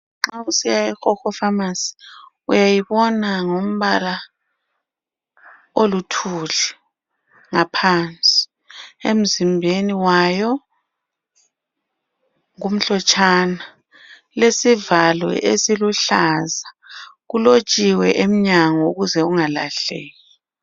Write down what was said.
Nxa usiya eHoho pharmacy, uyayibona ngombala oluthuli ngaphansi. Emzimbeni wayo kumhlotshana. Ilesivalo esiluhlaza. Kulotshiwe emnyango ukuze ungalahleki.